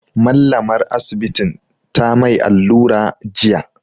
Mallamar Asibitin ta mai allura jiya.